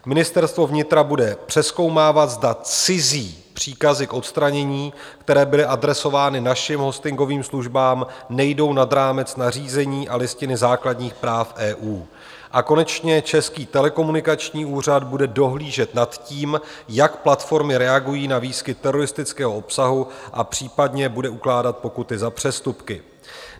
Ministerstvo vnitra bude přezkoumávat, zda cizí příkazy k odstranění, které byly adresovány našim hostingovým službám, nejdou nad rámec nařízení a Listiny základních práv EU, a konečně Český telekomunikační úřad bude dohlížet nad tím, jak platformy reagují na výskyt teroristického obsahu, a případně bude ukládat pokuty za přestupky.